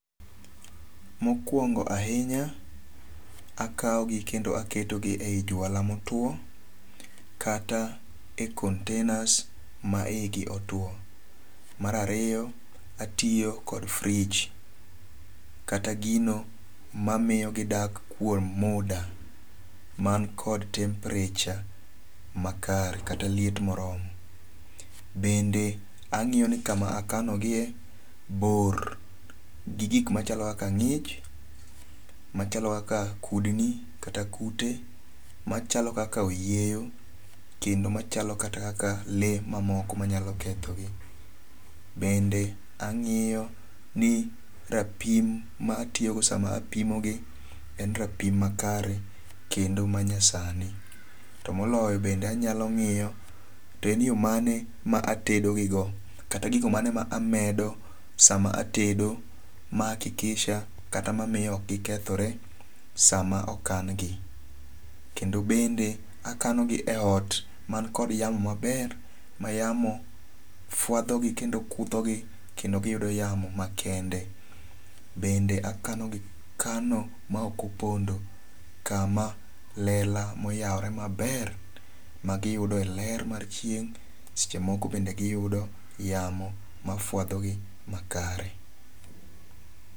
Mokuongo' ahinya akawogi kendo aketogi ei jwala motwo, kata e containers ma igi otwo, mar ariyo atiyo kod fridge kata gino ma miyo gidak kuom muda man kod temperature makare kata liet moromo, bende angi'yo ni kama akanogie bor gi gik machalo kaka ngi'ch , machalo kaka kudni kata kute, machalo kaka oyieyo,, kendo machalo kata le manyalo kethogi. Bende angi'yo ni rapim ma atiyogodo sama apimogi en rapim makare kendo manyasani, to moloyo bende anyalo ngi'yo to en yo mane ma otedogigo kata gigo mane ma amedo sama atedo ma akikisha kata mamiyo ok gi kethore sama okangi, kendo bende akanogi e ot man kod yamo maber ma yamo fuathogi kendo futhogi kendo giyudo yamo makende, bende akanogi kano ma okopondo kama lela moyawore maber magiyude e ler mar chieng', seche moko bende giyudo yamo mafuathogi makare